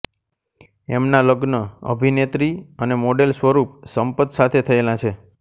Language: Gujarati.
એમનાં લગ્ન અભિનેત્રી અને મોડેલ સ્વરૂપ સંપત સાથે થયેલા છે